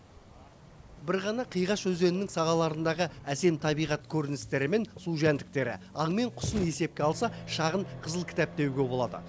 бір ғана қиғаш өзенінің сағаларындағы әсем табиғат көріністері мен су жәндіктері аң мен құсын есепке алса шағын қызыл кітап деуге болады